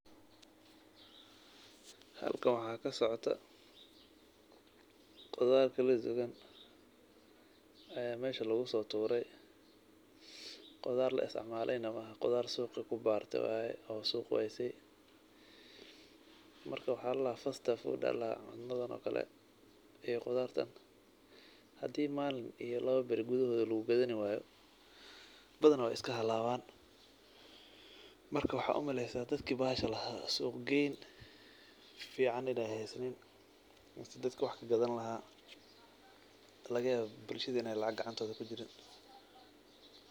Halkaan waxa kasocdo qudhaar kaladuduwan aya mesha lagusoture. Qudhaar laisticmale na maaha, qudhaar suga kubarte waye sug wayse marka waa ladaha faster food cunadhaan oo kale iyo qudhartan. Hadii malin iyo lawabari gudhuhodha lagugadhan waayo badhana way iska halawan marka waxa umalysa dadka bahasha laaha inay sugeen ficani inay haysani mis dadka waxa kagadhani laha lagayawo bulshadha inay kacantodhi lacag ay kujirin.